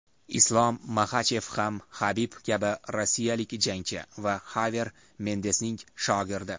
Islom Maxachev ham Habib kabi rossiyalik jangchi va Haver Mendesning shogirdi.